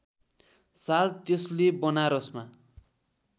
साल त्यसले बनारसमा